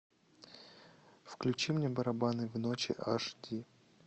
включи мне барабаны в ночи аш ди